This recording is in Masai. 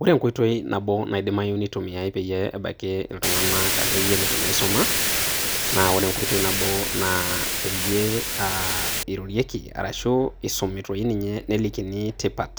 Ore enkoitoi nabo naidimayu nitumiyai peyie ebakie iltungana ake yie letu na isuma, na ore enkoitoi nabo na peyie aa irorieki arashu isumi doi ninye ashu elikini tipat